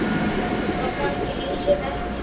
Það kannski lýsir verkinu vel.